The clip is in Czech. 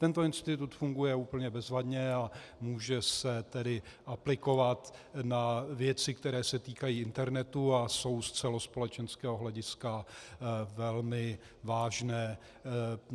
Tento institut funguje úplně bezvadně, a může se tedy aplikovat na věci, které se týkají internetu a jsou z celospolečenského hlediska velmi vážné.